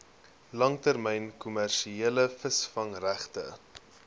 langtermyn kommersiële visvangregte